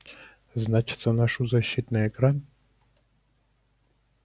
значится ношу защитный экран